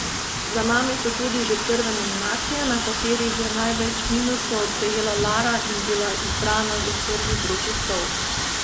Za nami so tudi že prve nominacije, na katerih je največ minusov prejela Lara in bila izbrana za prvi vroči stol.